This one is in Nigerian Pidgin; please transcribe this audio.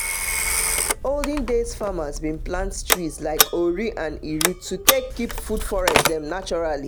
olden days farmers dem bin plant trees like ori and iru to take keep food forests dem naturally